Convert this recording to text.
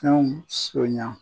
Fɛnw soɲan